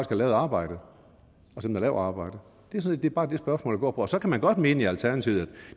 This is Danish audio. har lavet arbejdet og som laver arbejdet det det er bare det spørgsmålet går på så kan man godt mene i alternativet at